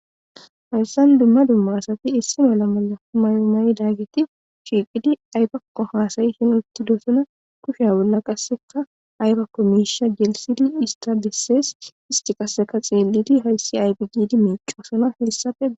Haysan dumma dumma asati mayo mayidayti shiqidi aybako hasayishe utidosona kushiya bolla qase aybako mishe gelthidi isata bese isti qaseka xelidi haysi aybe gidi micosona hesape